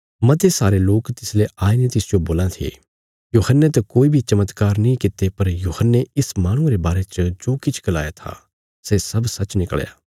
मते सारे लोक तिसले आई ने तिसजो बोल्लां थे यूहन्ने त कोई बी चमत्कार नीं कित्ते पर यूहन्ने इस माहणुये रे बारे च जो किछ गलाया था सै सब सच्च निकल़या